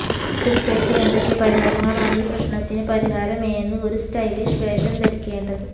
slip ധരിക്കാൻ എന്തൊക്കെ പരിഹാരങ്ങളാണ് ഈ പ്രശ്നത്തിന് പരിഹാരം എന്ന് ഒരു സ്റ്റൈലിഷ് വേഷം ധരിക്കേണ്ടത്